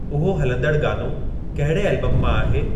उहो हलंदड़ु गानो कहिड़े एल्बम मां आहे